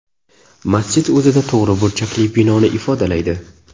Masjid o‘zida to‘g‘ri burchakli binoni ifodalaydi.